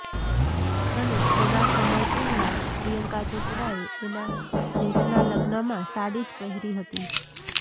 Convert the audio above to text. અને થોડા સમય પહેલા જ પ્રિયંકા ચોપડાએ એના જેઠના લગ્નમાં સાડી જ પહેરી હતી